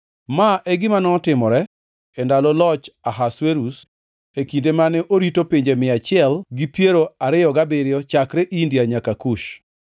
Ma e gima notimore e ndalo loch Ahasuerus, e kinde mane orito pinje mia achiel gi piero ariyo gabiriyo chakre India nyaka Kush.